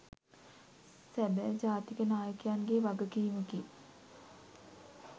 සබැ ජාතික නායකයන්ගේ වගකීමකි